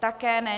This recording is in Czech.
Také ne.